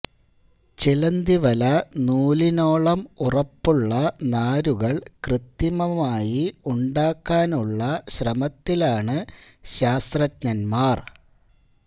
ചിലന്തിവല നൂലിനോളം ഉറപ്പുള്ള നാരുകൾ കൃത്രിമമായി ഉണ്ടാക്കാനുള്ള ശ്രമത്തിലാണ് ശാസ്ത്രജ്ഞന്മാർ